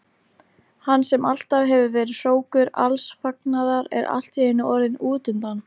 Hann sem alltaf hefur verið hrókur alls fagnaðar er allt í einu orðinn útundan.